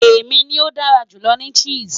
Emi ni o dara julọ ni Chess